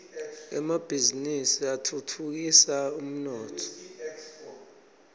emabhizini atfutfukisa umnotfo